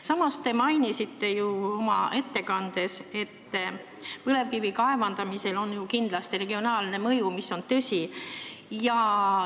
Samas, te mainisite oma ettekandes, et põlevkivi kaevandamisel on kindlasti regionaalne mõju, mis on tõsi.